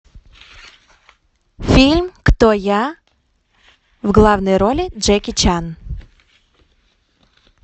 фильм кто я в главной роли джеки чан